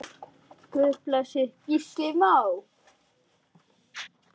Guð blessi Gísla Má.